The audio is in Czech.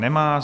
Nemá.